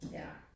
Ja